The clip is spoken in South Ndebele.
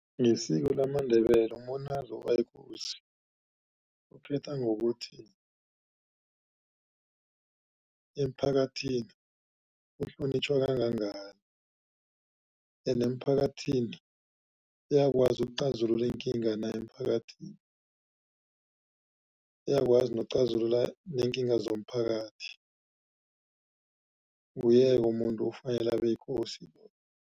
Ngesiko lamaNdebele umuntu nakazokuba yikosi, uphetha ngokuthi emphakathini uhlonitjhwa kangangani. Ende emphakathini uyakwazi ukucazula iinkinga na emphakathini. Uyakwazi nokucazulula neenkinga zomphakathi, nguye-ke umuntu ofanele abe yikosi loyo.